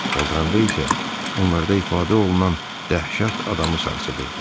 Qaldıranda isə onlarda ifadə olunan dəhşət adamı sarsıdırdı.